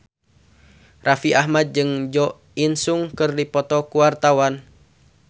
Raffi Ahmad jeung Jo In Sung keur dipoto ku wartawan